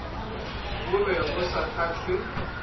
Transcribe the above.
bo be bo sa kgahle